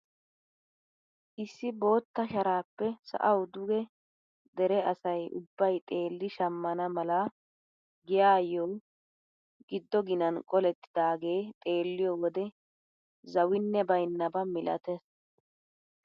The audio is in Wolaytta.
Issi bootta sharaappe sa'awu duge dere asay ubbay xeelli shammana mala giyaayo giddo ginan qolettidagee xeelliyo wode zawinne baynnaba milattees.